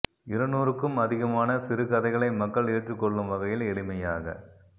இருநூறுக்கும் அதிகமான சிறுகதைகளை மக்கள் ஏற்றுக்கொள்லும் வகையில் எளிமையாக